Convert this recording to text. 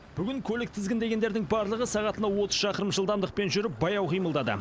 бүгін көлік тізгіндегендердің барлығы сағатына отыз шақырым жылдамдықпен жүріп баяу қимылдады